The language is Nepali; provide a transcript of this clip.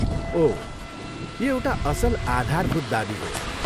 ओह, यो एउटा असल आधारभूत दावी हो।